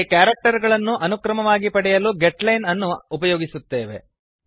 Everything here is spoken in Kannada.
ಇಲ್ಲಿ ಕ್ಯಾರೆಕ್ಟರ್ ಗಳನ್ನು ಅನುಕ್ರಮವಾಗಿ ಪಡೆಯಲು ಗೆಟ್ ಲೈನ್ ಅನ್ನು ಉಪಯೋಗಿಸುತ್ತೇವೆ